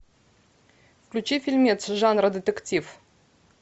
включи фильмец жанра детектив